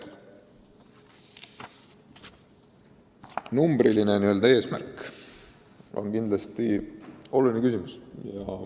" Numbriline eesmärk on kindlasti oluline küsimus.